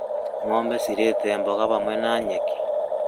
Ngʻombe cirĩĩte mboga hamwe na nyeki